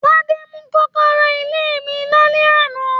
Tade mú kọ́kọ́rọ́ ilé mí lálẹ́ àná.